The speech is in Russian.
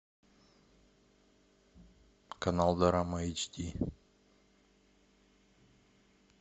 канал дорама эйч ди